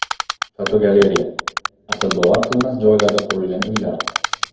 Fotogalereya: Aqlbovar qilmas joylarda qurilgan uylar.